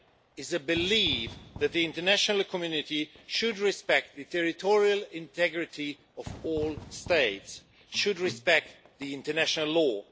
is the belief that the international community should respect the territorial integrity of all states and should respect international law.